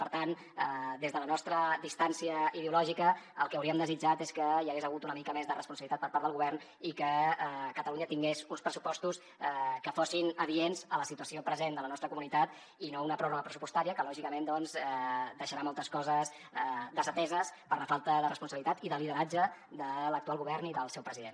per tant des de la nostra distància ideològica el que hauríem desitjat és que hi hagués hagut una mica més de responsabilitat per part del govern i que catalunya tingués uns pressupostos que fossin adients a la situació present de la nostra comunitat i no una pròrroga pressupostària que lògicament doncs deixarà moltes coses desateses per la falta de responsabilitat i de lideratge de l’actual govern i del seu president